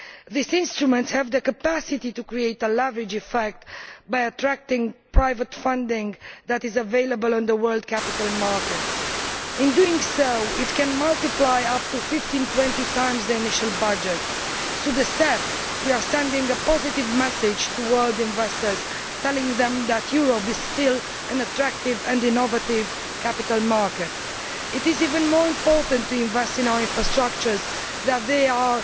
These instruments have the capacity to create a leverage effect by attracting private funding that is available on the world capital markets, and thereby to multiply by up to 15 or 20 times the initial budget. Through the CEF, we are sending a positive message to world investors, telling them that Europe is still an attractive and innovative capital market. It is ever more important to invest in our infrastructures, for they are